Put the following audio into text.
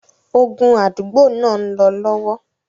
Ogun àdúgbò náà ń lọ lọ́wọ́.